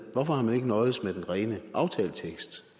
hvorfor har man ikke nøjedes med den rene aftaletekst